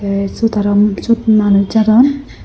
ei siot arow siot manuch jadon.